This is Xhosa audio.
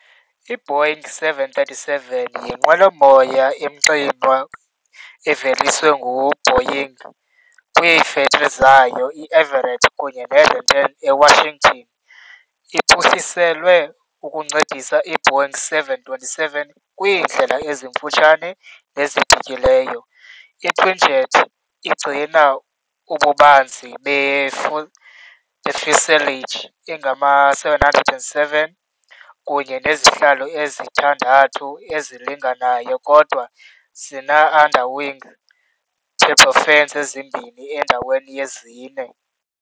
IBoeing 737 yinqwelo moya emxinwa eveliswe nguBoeing kwiifektri zayo i-Everett kunye neRenton eWashington .Iphuhliselwe ukuncedisa i- Boeing 727 kwiindlela ezimfutshane nezibhityileyo, i-twinjet igcina ububanzi be-fuselage engama-707 kunye nezihlalo ezithandathu ezilinganayo kodwa zine-underwing turbofans ezimbini endaweni yezine.